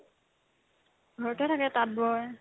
ঘৰতে থাকে তাঁত ব'ই